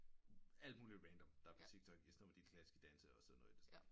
Alt muligt random der er på tiktok istedet for de klassiske danse og sådan noget i den stil